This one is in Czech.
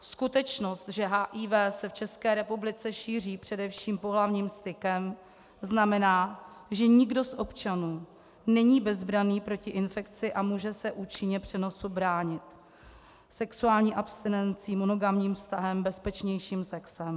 Skutečnost, že HIV se v České republice šíří především pohlavním stykem, znamená, že nikdo z občanů není bezbranný proti infekci a může se účinně přenosu bránit - sexuální abstinencí, monogamním vztahem, bezpečnějším sexem.